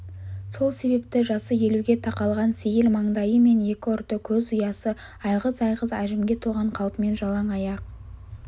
сол себепті жасы елуге тақалған сейіл маңдайы мен екі ұрты көз ұясы айғыз-айғыз әжімге толған қалпымен жалаң аяқ